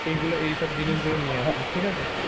এই গুলো এই সব জিনিস গুলো নিয়ে আসবি ঠিক আছে।